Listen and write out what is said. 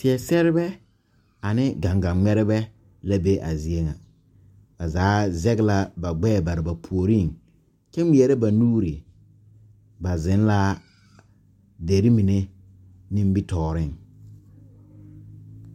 Seɛsɛrrebɛ ane gaŋga nymɛrbɛ la be a zie ŋa ba zaa zege la ba gbɛɛ bare ba puoriŋ kyɛ ngmɛɛrɛ ba nuure ba zeŋ la derre mine nimitooreŋ.